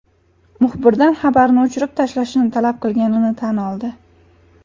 Muxbirdan xabarni o‘chirib tashlashini talab qilganini tan oldi.